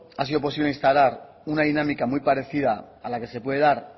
ha sido posible instalar una dinámica muy parecida a la que se puede dar